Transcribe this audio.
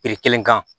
kelen kan